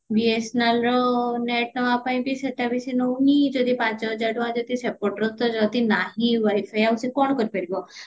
BSNL ର net ନବା ପାଇଁ ବି ସେଟା ବି ସେ ନଉନି ଯଦି ପାଞ୍ଚ ହଜାର ଟଙ୍କା ଯଦି ସେପଟର ତ ଯଦି ନାହିଁ wifi ଆଉ ସେ କଣ କରିପାରିବ